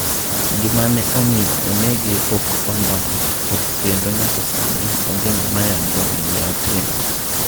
Gima ne omiyo onehge pok onon to kendo nyaka sani onge ng'ama yango ni neotimo.